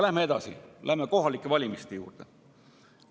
Läheme edasi, läheme kohalike valimiste juurde.